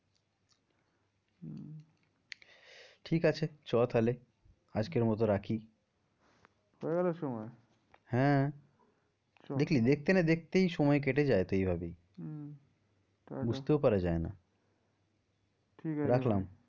ঠিক আছে চ তাহলে আজকের মতো রাখি হয়ে গেলো সময় হ্যাঁ দেখলি দেখতে না দেখতেই সময় কেটে যায় তো এই ভাবেই হম বুঝতেও পারা যায় না ঠিক আছে, রাখলাম